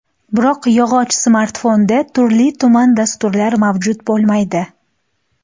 Biroq yog‘och smartfonda turli-tuman dasturlar mavjud bo‘lmaydi.